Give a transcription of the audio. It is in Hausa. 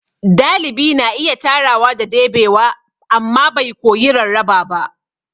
Dalibi na iya tarawa da debewa amma bai koyi rarraba ba.